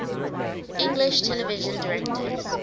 english television directors